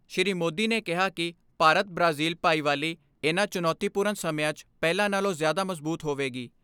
ਸ੍ਰੀ ਮੋਦੀ ਨੇ ਕਿਹਾ ਕਿ ਭਾਰਤ ਬ੍ਰਾਜ਼ਿਲ ਭਾਈਵਾਲੀ, ਇਨ੍ਹਾਂ ਚੁਣੌਤੀਪੂਰਨ ਸਮਿਆਂ 'ਚ ਪਹਿਲਾਂ ਨਾਲੋਂ ਜ਼ਿਆਦਾ ਮਜ਼ਬੂਤ ਹੋਵੇਗੀ।